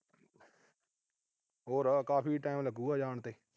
ਹੋਰ ਕਾਫੀ time ਲਗੂਗਾ, ਜਾਣ ਨੂੰ।